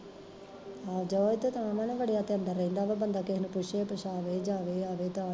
ਜਾਵੇ ਤਾਂ ਨਾ ਜੇ ਵੜਿਆ ਤੇ ਅੰਦਰ ਰਹਿੰਦਾ ਵਾ, ਬੰਦਾ ਕਿਸੇ ਨੂੰ ਪੁੱਛੇ ਪੁੱਛਾਵੇ ਜਾਵੇ ਆਵੇ